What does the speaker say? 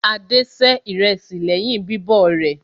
Adé se ìrẹsì lẹ́yìn bíbọ̀ rẹ̀.